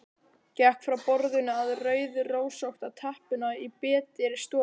Gekk frá borðinu að rauðrósótta teppinu í betri stofunni.